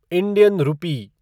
Indian rupee